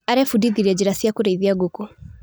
Arebundithirie njĩra cia kũrĩithia ngũkũ.